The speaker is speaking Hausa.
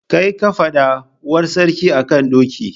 Kai ka faɗa? Uwar sarki a kan doki.